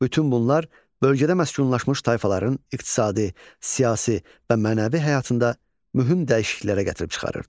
Bütün bunlar bölgədə məskunlaşmış tayfaların iqtisadi, siyasi və mənəvi həyatında mühüm dəyişikliklərə gətirib çıxarırdı.